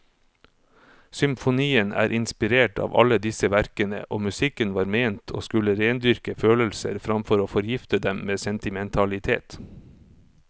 Symfonien er inspirert av alle disse verkene, og musikken var ment å skulle rendyrke følelser framfor å forgifte dem med sentimentalitet.